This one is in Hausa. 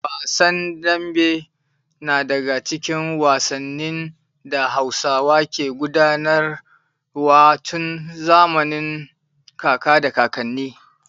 Wasan dambe na daga cikin wasannin da Hausawa ke gudanar wa tun zamanin kaka da kakanni.